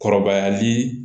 Kɔrɔbayali